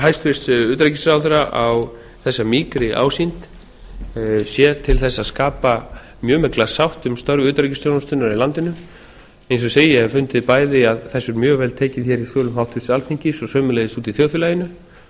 hæstvirts utanríkisráðherra á þessa mýkri ásýnd sé til þess að skapa mjög mikla sátt um störf utanríkisþjónustunnar í landinu eins og ég segi ég hef fundið bæði að þessu er mjög vel tekið hér í sölum háttvirtur alþingis og sömuleiðis úti í þjóðfélaginu og